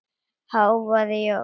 hváði Jón.